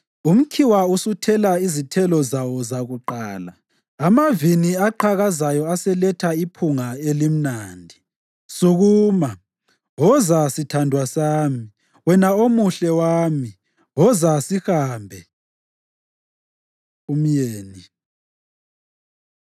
Umkhiwa usuthela izithelo zawo zakuqala; amavini aqhakazayo aseletha iphunga elimnandi. Sukuma, woza sithandwa sami; wena omuhle wami, woza sihambe.” Umyeni